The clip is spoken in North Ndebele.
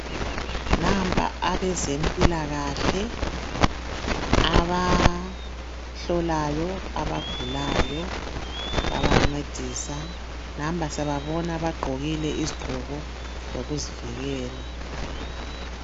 nampa abezempilakahle abahlolayo abagulayo babancedisa nampa siyababona bagqokile izigqoko zokuzivikela